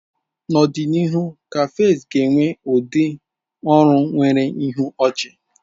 N'ọdịnihu, cafes ga-enwe ndị ọrụ nwere ihu ochi.